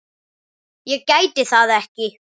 Ég gæti það ekki.